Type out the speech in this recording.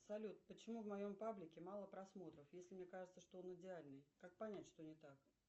салют почему в моем паблике мало просмотров если мне кажется что он идеальный как понять что не так